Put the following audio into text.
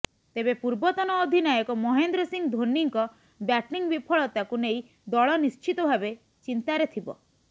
ତେବେ ପୂର୍ବତନ ଅଧିନାୟକ ମହେନ୍ଦ୍ର ସିଂ ଧୋନିଙ୍କ ବ୍ୟାଟିଂ ବିଫଳତାକୁ ନେଇ ଦଳ ନିଶ୍ଚିତ ଭାବେ ଚିନ୍ତାରେ ଥିବ